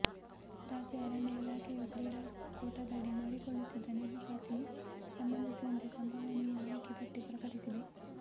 ರಾಜ್ಯ ಅರಣ್ಯ ಇಲಾಖೆಯು ಕ್ರೀಡಾ ಕೋಟಾದಡಿ ಮಾಡಿಕೊಳ್ಳುತ್ತಿದ್ದ ನೇಮಕಾತಿಗೆ ಸಂಬಂಧಿಸಿದಂತೆ ಸಂಭವನೀಯ ಆಯ್ಕೆ ಪಟ್ಟಿ ಪ್ರಕಟಿಸಿದೆ